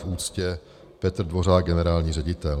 V úctě Petr Dvořák, generální ředitel.